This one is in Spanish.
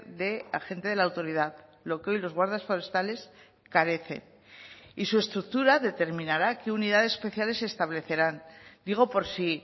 de agente de la autoridad lo que hoy los guardas forestales carece y su estructura determinará qué unidades especiales establecerán digo por si